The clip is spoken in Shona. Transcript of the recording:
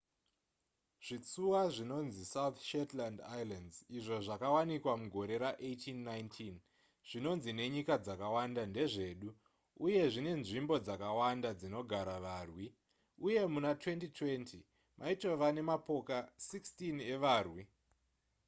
zvitsuwa zvinonzi south shetland islands izvo zvakawanikwa mugore ra1819 zvinonzi nenyika dzakawanda ndezvedu uye zvine nzvimbo dzakawanda dzinogara varwi uye muna 2020 maitova nemapoka 16 evarwi